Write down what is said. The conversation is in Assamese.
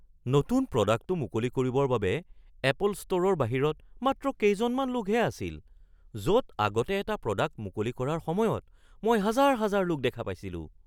নতুন প্ৰডাক্টটো মুকলি কৰিবৰ বাবে এপল ষ্ট'ৰৰ বাহিৰত মাত্ৰ কেইজনমান লোকহে আছিল য'ত আগতে এটা প্ৰডাক্ট মুকলি কৰাৰ সময়ত মই হাজাৰ হাজাৰ লোক দেখা পাইছিলোঁ।